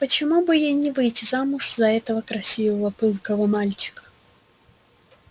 почему бы ей не выйти замуж за этого красивого пылкого мальчика